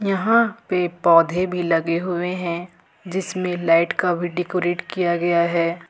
यहां पे पौधे भी लगे हुए हैं जिसमें लाइट का भी डेकोरेट किया गया है।